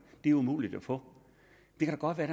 det er umuligt at få det kan godt være